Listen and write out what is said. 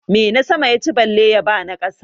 Menasama ya ci bale ya ba na ƙasa?